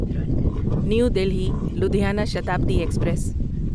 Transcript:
new Delhi Ludhiana Shatabdi express